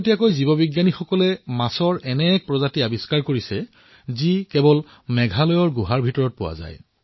অলপতে জীৱবিজ্ঞানীসকলে মাছৰ এক নতুন প্ৰজাতি আৱিষ্কাৰ কৰিছে যি কেৱল মেঘালয়ৰ গুহাৰ ভিতৰতহে পোৱা যায়